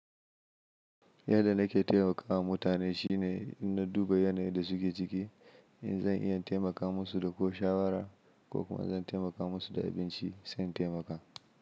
Yadda nake taimakawa mutane shine inna duba yanayin da suke ciki in zan iya taimaka musu da ko shawara ko kuma zan taimaka musu da abinci sai na taimaka.